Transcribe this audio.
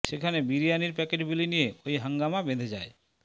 সেখানে বিরিয়ানির প্যাকেট বিলি নিয়ে ওই হাঙ্গামা বেধে যায়